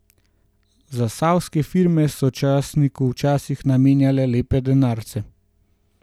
Zasavske firme so časniku včasih namenjale lepe denarce.